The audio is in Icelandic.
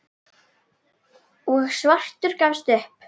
og svartur gafst upp.